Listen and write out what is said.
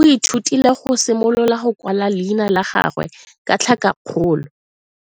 o ithutile go simolola go kwala leina la gagwe ka tlhakakgolo.